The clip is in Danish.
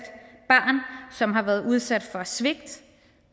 barn som har været udsat for svigt og